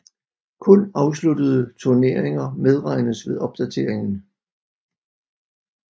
Kun afsluttede turneringer medregnes ved opdateringen